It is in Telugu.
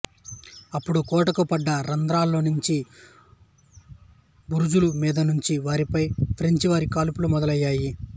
అప్పుడు కోటకు పడ్డ రంధ్రాల్లోంచి బురుజుల మీద నుంచీ వారిపై ఫ్రెంచి వారి కాల్పులు మొదలయ్యాయి